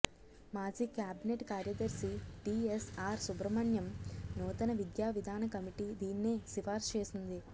మాజీ క్యాబినెట్ కార్యదర్శి టీఎస్ఆర్ సుబ్రహ్మణ్యం నూతన విద్యావిధాన కమిటీ దీన్నే సిఫార్సు చేసింది